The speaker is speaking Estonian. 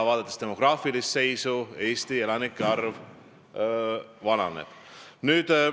Vaadates demograafilist seisu, näeme, et Eesti elanikkond vananeb.